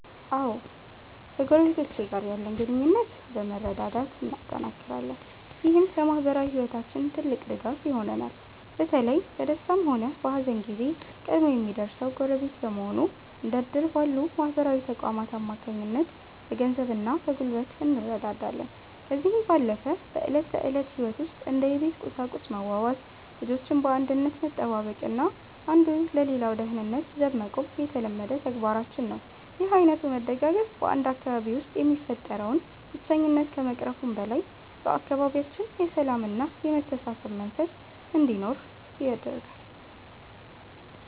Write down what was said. አዎ ከጎረቤቶቼ ጋር ያለን ግንኙነት በመረዳዳት እናጠናክራለን። ይህም ለማኅበራዊ ሕይወታችን ትልቅ ድጋፍ ይሆነናል። በተለይ በደስታም ሆነ በሐዘን ጊዜ ቀድሞ የሚደርሰው ጎረቤት በመሆኑ፤ እንደ ዕድር ባሉ ማኅበራዊ ተቋማት አማካኝነት በገንዘብና በጉልበት እንረዳዳለን። ከዚህም ባለፈ በዕለት ተዕለት ሕይወት ውስጥ እንደ የቤት ቁሳቁስ መዋዋስ፤ ልጆችን በአንድነት መጠባበቅና አንዱ ለሌላው ደህንነት ዘብ መቆም የተለመደ ተግባራችን ነው። ይህ ዓይነቱ መደጋገፍ በ 1 አካባቢ ውስጥ የሚፈጠረውን ብቸኝነት ከመቅረፉም በላይ፤ በአካባቢያችን የሰላምና የመተሳሰብ መንፈስ እንዲኖር ያደርጋል።